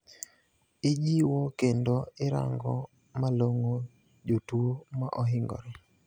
Ijiwo kendo irango malong`o jotuo maohingore